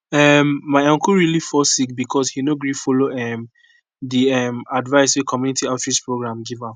um my uncle really fall sick because he no gree follow um the um advice wey community outreach programs give am